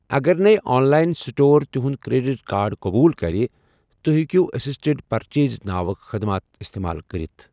اگرنیہ online store تہٗند credit card قبول کرِ، توہہِ ہكِیو اسسٹڈ پرچیز ناوٕ خدمات استعمال کرِتھ ۔